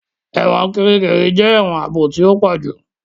Ẹ̀wọ̀n Kirikiri jẹ èwòn ààbò tí o pojú